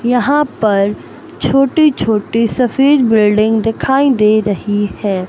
यहां पर छोटी छोटी सफेद बिल्डिंग दिखाई दे रही हैं।